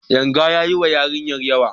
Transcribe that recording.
Yanga ya yi ma yarinyar yawa.